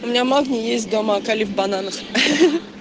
у меня магний есть дома а калий в бананах ха ха